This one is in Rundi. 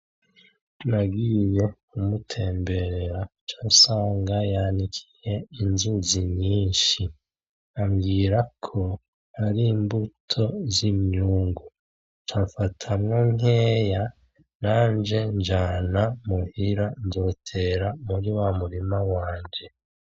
Nagiye kumutemberera ca nsanga yanikiye inzuzi nyinshi. Ambwirako ari imbuto z'imyungu, ca mfata nkeya nanje njana muhira, nzotera muri wa murima wanje.